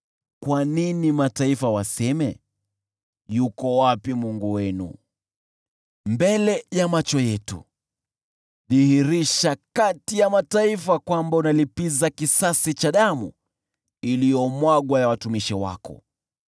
Kwa nini mataifa waseme, “Yuko wapi Mungu wenu?” Mbele ya macho yetu, dhihirisha kati ya mataifa kwamba unalipiza kisasi damu iliyomwagwa ya watumishi wako.